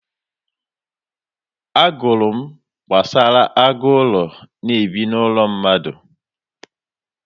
Agụrụ m gbasara agụ ụlọ na-ebi n'ụlọ mmadụ.